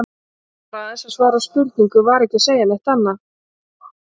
Var aðeins að svara spurningu, var ekki að segja neitt annað.